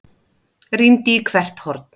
Rýndi í hvert horn.